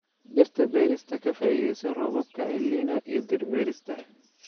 Dhirta beerista Ka faa'iidayso roobabka Elnino iyo dhir beerista.